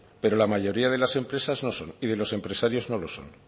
pero la mayoría de las empresas no son y de los empresarios no lo son